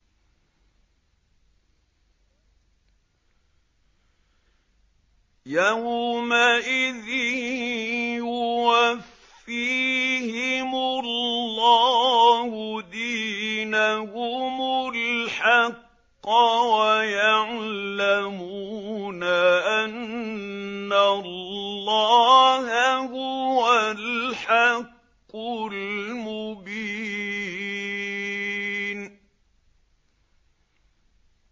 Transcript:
يَوْمَئِذٍ يُوَفِّيهِمُ اللَّهُ دِينَهُمُ الْحَقَّ وَيَعْلَمُونَ أَنَّ اللَّهَ هُوَ الْحَقُّ الْمُبِينُ